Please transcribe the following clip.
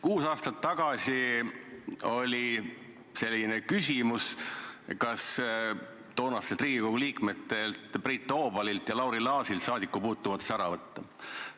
Kuus aastat tagasi tekkis küsimus, kas Riigikogu liikmetelt Priit Toobalilt ja Lauri Laasilt saadikupuutumatus ära võtta.